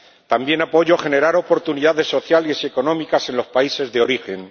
También apoyo generar oportunidades sociales y económicas en los países de origen